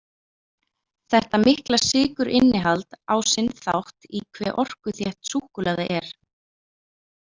Þetta mikla sykurinnihald á sinn þátt í hve orkuþétt súkkulaði er.